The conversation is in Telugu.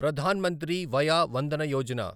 ప్రధాన్ మంత్రి వయా వందన యోజన